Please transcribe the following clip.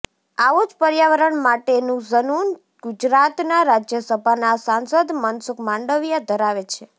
આવું જ પર્યાવરણ માટેનું ઝનૂન ગુજરાતના રાજ્યસભાના સાંસદ મનસુખ માંડવિયા ધરાવે છે